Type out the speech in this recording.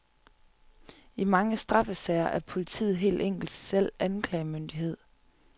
I mange straffesager er politiet helt enkelt selv anklagemyndighed.